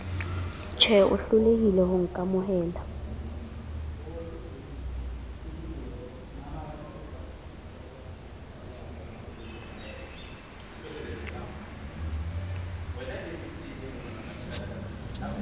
tjhev o hlolehile ho nkamohela